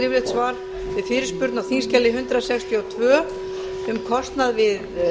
svar við fyrirspurn á þingskjali hundrað sextíu og tvö um kostnað við